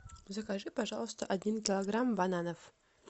закажи пожалуйста один килограмм бананов